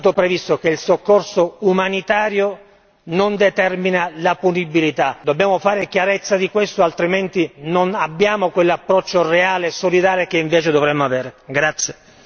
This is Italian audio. Già da più di un anno è stato previsto che il soccorso umanitario non determina la punibilità, dobbiamo fare chiarezza di questo, altrimenti non abbiamo quell'approccio reale e solidale che invece dovremmo avere.